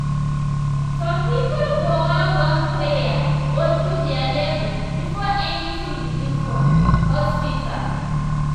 some people go wan run prayer or do their level before anything begin for um hospital.